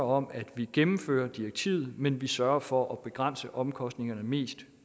om at vi gennemfører direktivet men vi sørger for at begrænse omkostningerne mest